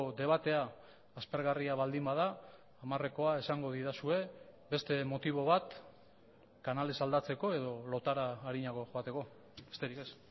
debatea aspergarria baldin bada hamarrekoa esango didazue beste motibo bat kanalez aldatzeko edo lotara arinago joateko besterik ez